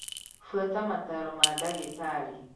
Buata mataro ma ndagĩtarĩ